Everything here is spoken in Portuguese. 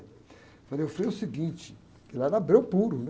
Eu falei, ô, Frei, é o seguinte, porque lá era breu puro, né?